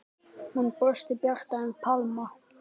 Hún brosti bjartar en Pamela.